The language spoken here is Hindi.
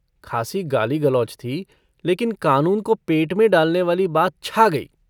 खासी गाली0गलौज थी लेकिन कानून को पेट में डालनेवाली बात छा गई।